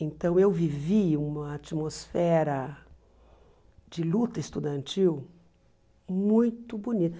Então eu vivi uma atmosfera de luta estudantil muito bonita.